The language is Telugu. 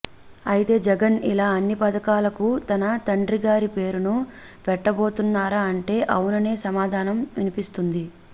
అయితే జగన్ ఇలా అన్ని పథకాలకు తన తండ్రి గారి పేరును పెట్టబోతున్నారా అంటే అవుననే సమాధానమే వినిపిస్తుంది